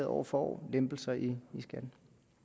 år for år lempelser i skatten